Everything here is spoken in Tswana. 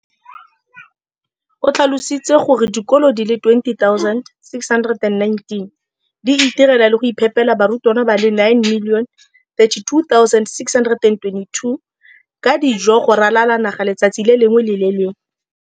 O tlhalositse gore dikolo di le 20 619 di itirela le go iphepela barutwana ba le 9 032 622 ka dijo go ralala naga letsatsi le lengwe le le lengwe.